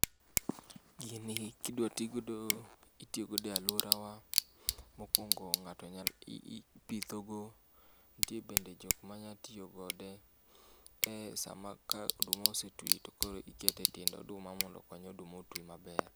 Gini kidwa ti godo itiyo godo e aluorawa mokuongo ng'ato nyalo iipithogo. Nitie bende jok manya tiyo kode ee sama ka oduma osetwi tokoro iketo etiend oduma mondo okony oduma otwi maber.